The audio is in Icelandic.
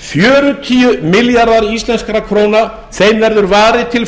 fjörutíu milljarðar íslenskra króna verður varið til